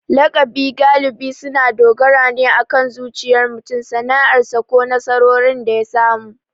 Lakabi galibi suna dogara ne akan zuriyar mutum, sana'arsa, ko nasarorin da ya samu.